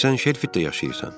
Axı sən Şelfitdə yaşayırsan.